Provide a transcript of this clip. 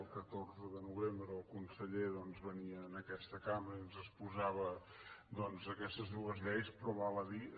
el catorze de novembre el conseller doncs venia a aquesta cambra i ens exposava aquestes dues lleis però val a dir